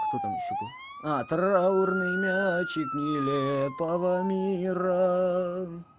кто там ещё был а траурный мячик нелепого мира